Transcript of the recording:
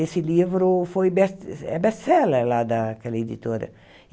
Esse livro foi best é best-seller lá daquela editora.